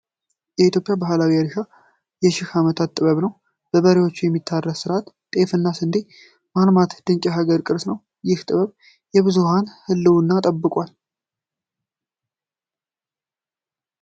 የኢትዮጵያ ባህላዊ እርሻ የሺህ ዓመታት ጥበብ ነው! በበሬ የሚታረስ ስርዓት፣ ጤፍና ስንዴን ማልማት ድንቅ የሀገራችን ቅርስ ነው። ይህ ጥበብ የብዙኃንን ህልውና ጠብቋል።